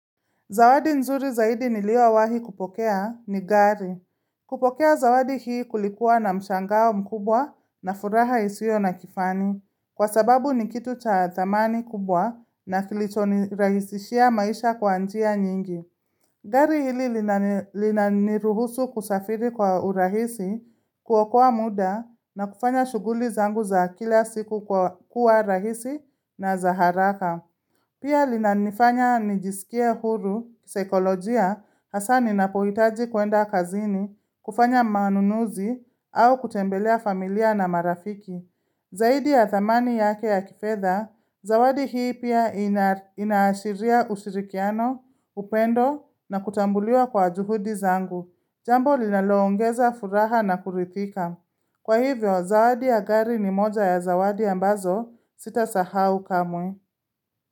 Zawadi nzuri zaidi niliyowahi kupokea ni gari. Kupokea zawadi hii kulikuwa na mshangao mkubwa na furaha isiyo na kifani. Kwa sababu ni kitu cha thamani kubwa na kilicho nirahisishia maisha kwa njia nyingi. Gari hili linaniruhusu kusafiri kwa urahisi, kuokoa muda na kufanya shughuli zangu za kila siku kwa kuwa rahisi na za haraka. Pia linanifanya nijisikie huru kisaikolojia hasa ninapohitaji kuenda kazini, kufanya manunuzi, au kutembelea familia na marafiki. Zaidi ya thamani yake ya kifedha, zawadi hii pia inaashiria ushirikiano, upendo na kutambuliwa kwa juhudi zangu. Jambo linaloongeza furaha na kuridhika. Kwa hivyo, zawadi ya gari ni moja ya zawadi ambazo sitasahau kamwe.